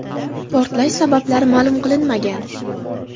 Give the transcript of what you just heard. Portlash sabablari ma’lum qilinmagan.